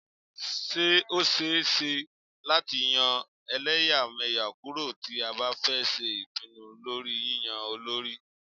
Ṣé ó ṣẹ é ṣe láti yọ́ ẹlẹ́yàmẹyà kúrò tí a bá fẹ́ ṣe ìpinnu lórí yínyan olórí.